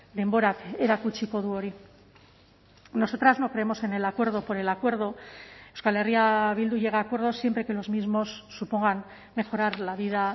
denborak erakutsiko du hori nosotras no creemos en el acuerdo por el acuerdo euskal herria bildu llega a acuerdos siempre que los mismos supongan mejorar la vida